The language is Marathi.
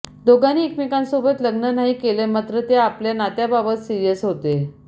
दोघांनी एकमेकांसोबत लग्न नाही केलं मात्र ते आपल्या नात्याबाबत सिरियस होते